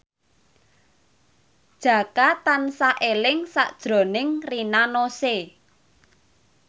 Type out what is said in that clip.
Jaka tansah eling sakjroning Rina Nose